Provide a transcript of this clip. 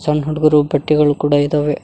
ಸಣ್ ಹುಡಗೂರು ಬಟ್ಟೆಗಳ್ ಕೂಡ ಇದವೆ.